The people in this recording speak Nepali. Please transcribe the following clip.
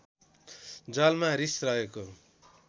जलमा रिस रहेको